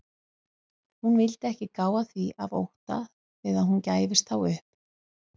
Hún vildi ekki gá að því af ótta við að hún gæfist þá upp.